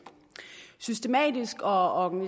systematisk og